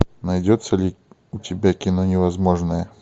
найдется ли у тебя кино невозможное